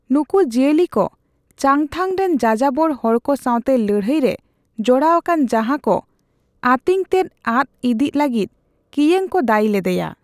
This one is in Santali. ᱱᱩᱠᱩ ᱡᱤᱭᱟᱹᱞᱤ ᱠᱚ ᱪᱟᱝᱛᱷᱟᱝ ᱨᱮᱱ ᱡᱟᱡᱟᱵᱚᱨ ᱦᱚᱲᱠᱚ ᱥᱟᱣᱛᱮ ᱞᱟᱹᱲᱦᱟᱹᱭ ᱨᱮ ᱡᱚᱲᱟᱣ ᱟᱠᱟᱱ ᱡᱟᱦᱟᱸ ᱠᱚ ᱟᱸᱛᱤᱧᱚᱛᱮᱫ ᱟᱫ ᱤᱫᱤᱜ ᱞᱟᱹᱜᱤᱫ ᱠᱤᱭᱟᱝ ᱠᱚ ᱫᱟᱹᱭᱤ ᱞᱮᱫᱮᱭᱟ ᱾